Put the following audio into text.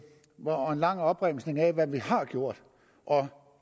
lang opremsning af hvad vi har gjort